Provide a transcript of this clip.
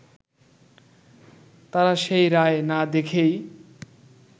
তারা সেই রায় না দেখেই